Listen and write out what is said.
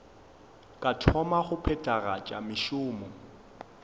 ka thoma go phethagatša mešomo